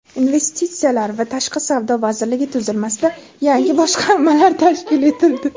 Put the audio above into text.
Investitsiyalar va tashqi savdo vazirligi tuzilmasida yangi boshqarmalar tashkil etildi.